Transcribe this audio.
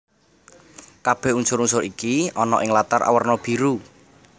Kabèh unsur unsur iki ana ing latar awerna biru